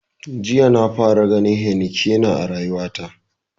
Jiya na fara ganin heinekena a rayuwa ta.